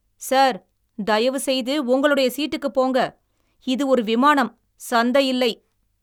Sir, தயவுசெய்து உங்களுடைய சீட்டுக்குப் போங்க. இது ஒரு விமானம். சந்தையில்லை!